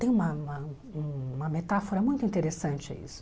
Tem uma uma uma metáfora muito interessante a isso.